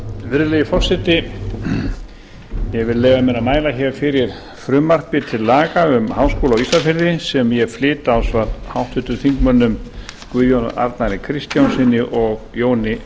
virðulegi forseti ég vil leyfa mér að mæla fyrir frumvarpi til laga um háskóla á ísafirði sem ég flyt ásamt háttvirtum þingmönnum guðjóni arnari kristjánssyni og jóni